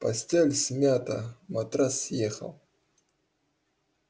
постель смята матрас съехал